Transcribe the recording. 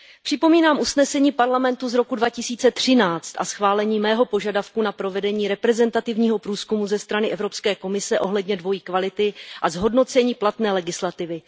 Připomínám usnesení Parlamentu z roku 2013 a schválení mého požadavku na provedení reprezentativního průzkumu ze strany Evropské komise ohledně dvojí kvality a zhodnocení platné legislativy.